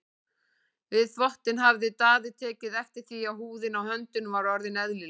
Við þvottinn hafði Daði tekið eftir því að húðin á höndunum var orðin ellileg.